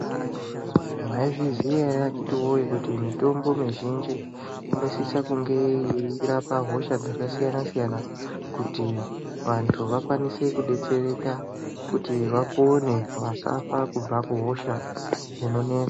Mwaizviziya ere akiti woye kuti mitombo mixhinji inosisa kunge yekurapa hosha dzakasiyana siyana kuti vantu vakome kudetsereka kuti vapone vasafa kubva kuhosha inonetsa.